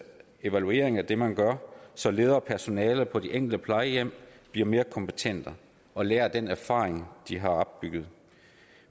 evaluering af det man gør så ledere og personale på det enkelte plejehjem bliver mere kompetente og lærer af den erfaring de har opbygget